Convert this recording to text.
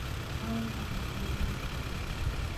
aaldi lolotinwek